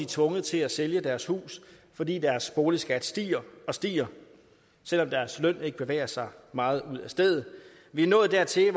tvunget til at sælge deres hus fordi deres boligskat stiger og stiger selv om deres løn ikke bevæger sig meget ud af stedet vi er nået dertil